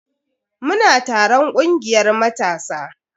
Muna taron kungiyar matasa.